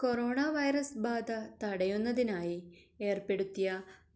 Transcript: corona virus ബാധ തടയുന്നതിനായി ഏർപ്പെടുത്തിയ